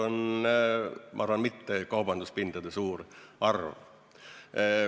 Eesmärk ei ole, ma arvan, kaubanduspindade suur arv.